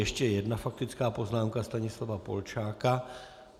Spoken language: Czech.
Ještě jedna faktická poznámka Stanislava Polčáka.